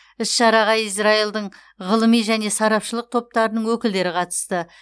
іс шараға израилдің ғылыми және сарапшылық топтарының өкілдері қатысты